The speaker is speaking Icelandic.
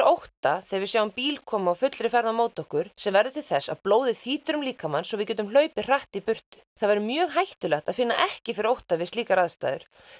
ótta þegar við sjáum bíla koma á fullri ferð á móti okkur sem verður til þess að blóðið þýtur til líkamans svo við getum hlaupið hratt í burtu það væri mjög hættulegt að finna ekki fyrir ótta við slíkar aðstæður